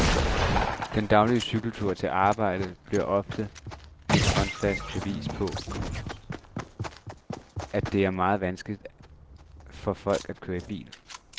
Den daglige cykeltur til arbejde bliver ofte et håndfast bevis på, at det er meget vanskeligt for folk at køre bil.